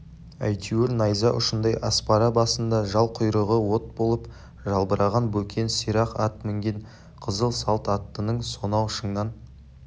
әйтеуір найза ұшындай аспара басында жал-құйрығы от болып жалбыраған бөкен сирақ ат мінген қызыл салт аттының сонау шыңнан